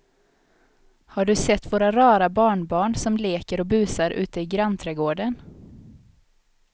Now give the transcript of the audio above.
Har du sett våra rara barnbarn som leker och busar ute i grannträdgården!